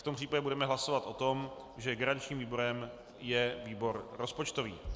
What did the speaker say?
V tom případě budeme hlasovat o tom, že garančním výborem je výbor rozpočtový.